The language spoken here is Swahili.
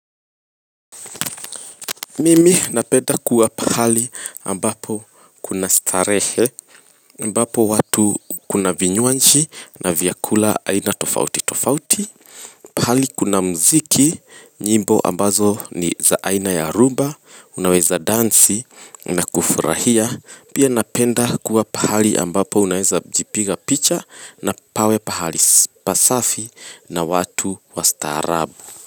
Mimi napenda kuwa pahali ambapo kuna starehe ambapo watu kuna vinywanchi na vyakula aina tofauti tofauti Pahali kuna muziki nyimbo ambazo ni za aina ya rhumba unaweza dansi na kufurahia Pia napenda kuwa pahali ambapo unaweza jipiga picha na pawe pahali pasafi na watu wa staarabu.